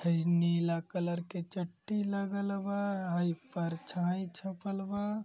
हई नीला कलर के चट्टी लागल बा। हई परछाई छपल बा।